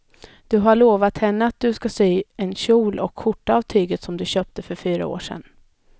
Du har lovat henne att du ska sy en kjol och skjorta av tyget du köpte för fyra år sedan.